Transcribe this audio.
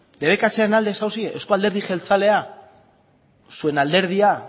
debekatzearen alde zaudete euzko alderdi jeltzalea zuen alderdia